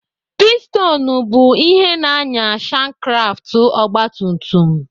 Pistonụ bụ ihe na-ànyà shankkraftụ ọgbatumtum.